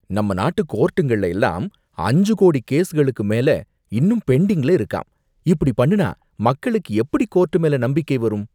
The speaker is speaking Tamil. நம்ம நாட்டு கோர்ட்டுங்கள்ள எல்லாம் அஞ்சு கோடி கேஸ்களுக்கு மேல இன்னும் பெண்டிங்ல இருக்காம், இப்படி பண்ணுனா மக்களுக்கு எப்படி கோர்ட் மேல நம்பிக்கை வரும்?